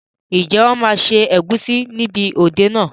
Ǹjẹ́ wọn máa ṣe ẹ̀gúsí níbi òde náà?